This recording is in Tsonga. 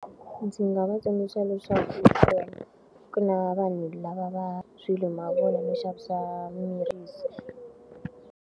Ndzi nga va tsundzuxa leswaku ku na vanhu lava va mavun'wa no xavisa miri .